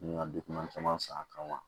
N bɛ ka caman san a kama